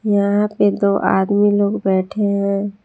यहां पे दो आदमी लोग बैठे हैं।